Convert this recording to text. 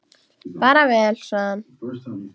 Bara vel, sagði hann.